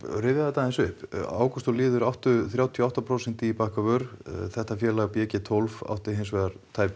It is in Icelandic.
rifjað þetta aðeins upp ágúst og Lýður áttu þrjátíu og átta prósent í Bakkavör þetta félag b g tólf átti hinsvegar tæp